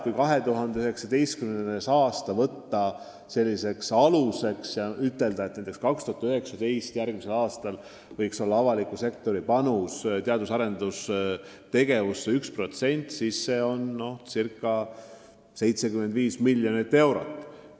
Kui võtta aluseks järgmine aasta ja ütelda, et 2019. aastal võiks avaliku sektori panus teadus- ja arendustegevusse olla 1% SKT-st, siis see teeb kokku ca 75 miljonit eurot.